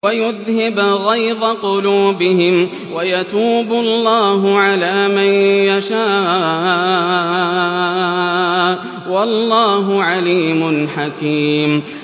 وَيُذْهِبْ غَيْظَ قُلُوبِهِمْ ۗ وَيَتُوبُ اللَّهُ عَلَىٰ مَن يَشَاءُ ۗ وَاللَّهُ عَلِيمٌ حَكِيمٌ